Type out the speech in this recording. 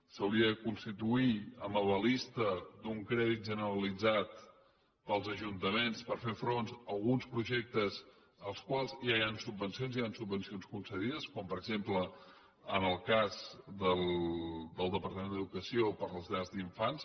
s’hauria de constituir en avaladora d’un crèdit generalitzat per als ajuntaments per fer front a alguns projectes per als quals ja hi han subvencions hi han subvencions concedides com per exemple en el cas del departament d’educació per a les llars d’infants